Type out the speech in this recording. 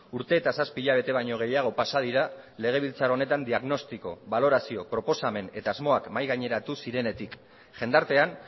urte eta zazpi hilabete baino gehiago pasa dira legebiltzar honetan diagnostiko balorazio proposamen eta asmoak mahai gaineratu zirenetik jendartean